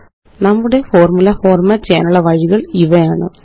നമ്മുടെ formula format ചെയ്യാനുള്ള വഴികള് ഇവയാണ്